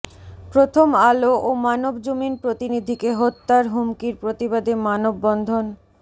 প্রথম আলো ও মানবজমিন প্রতিনিধিকে হত্যার হুমকির প্রতিবাদে মানববন্ধন